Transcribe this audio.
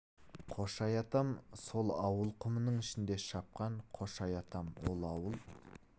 қошай атам сол ауыл құмның ішінде шапқан қошай атам ол ауыл